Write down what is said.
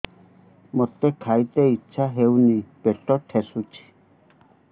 ମୋତେ ଖାଇତେ ଇଚ୍ଛା ହଉନି ପେଟ ଠେସୁଛି